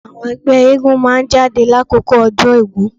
Àwọn ẹgbẹ́ eégún máa jáde lákòókò ọdún Ògún.